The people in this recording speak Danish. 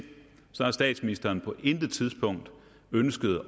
har statsministeren på intet tidspunkt ønsket